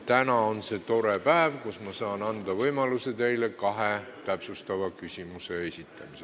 Täna on selline tore päev, kui ma saan anda teile võimaluse esitada kaks täpsustavat küsimust.